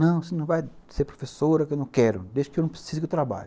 Não, você não vai ser professora, que eu não quero, desde que eu não precise que eu trabalho.